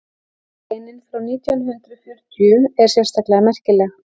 greinin frá nítján hundrað fjörutíu er sérstaklega merkileg